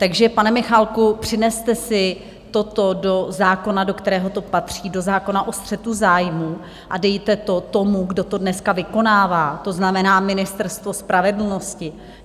Takže pane Michálku, přineste si toto do zákona, do kterého to patří, do zákona o střetu zájmů, a dejte to tomu, kdo to dneska vykonává, to znamená Ministerstvo spravedlnosti.